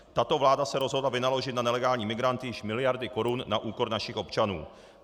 Tato vláda se rozhodla vynaložit na nelegální migranty již miliardy korun na úkor našich občanů.